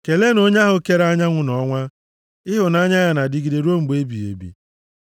Keleenụ onye ahụ kere anyanwụ na ọnwa, Ịhụnanya ya na-adịgide ruo mgbe ebighị ebi.